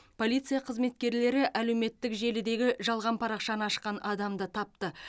полиция қызметкерлері әлеуметтік желідегі жалған парақшаны ашқан адамды тапты